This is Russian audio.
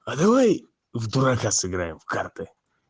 а давай в дурака сыграем в карты